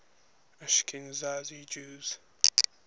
ashkenazi jews